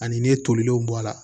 Ani ne tolilenw bɔ a la